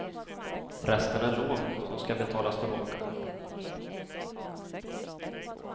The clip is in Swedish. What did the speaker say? Resten är lån, som ska betalas tillbaka.